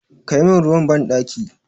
Kai min ruwa banɗaki!